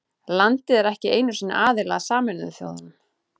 Landið er ekki einu sinni aðili að Sameinuðu þjóðunum.